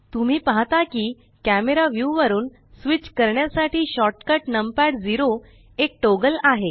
तुम्ही पाहता की कॅमरा व्यू वरुन स्विच करण्यासाठी शॉर्टकट नम पॅड 0एक टॉगल आहे